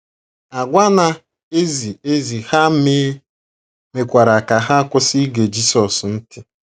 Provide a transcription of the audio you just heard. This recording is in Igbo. Àgwà na - ezi ezi ha mee mekwara ka ha kwụsị ige Jisọs ntị.